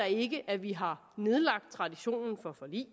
ikke at vi har nedlagt traditionen for forlig